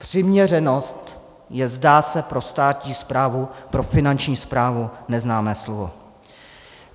Přiměřenost je, zdá se, pro státní správu, pro Finanční správu, neznámé slovo.